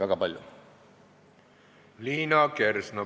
Liina Kersna, palun!